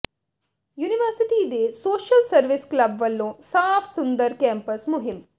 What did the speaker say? university ਦੇ social service club ਵਲੋਂ ਸਾਫ ਸੁੰਦਰ ਕੈਂਪਸ ਮੁਹਿੰਮ